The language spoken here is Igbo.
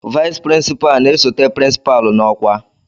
Vice Principal na-esote pirinsipalu n'ọkwa